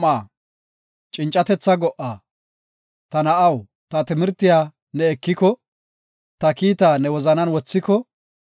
Ta na7aw, ta timirtiya ne ekiko; ta kiitaa ne wozanan wothiko;